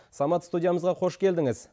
самат студиямызға қош келдіңіз